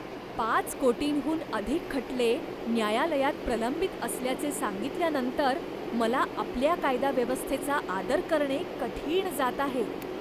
पाच कोटींहून अधिक खटले न्यायालयात प्रलंबित असल्याचे सांगितल्यानंतर मला आपल्या कायदा व्यवस्थेचा आदर करणे कठीण जात आहे.